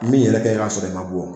min yɛrɛ kɛ k'a sɔrɔ i ma bɔ